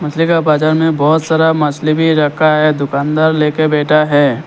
बाजार में बहुत सारा मछली भी रखा है दुकानदार लेके बैठा है।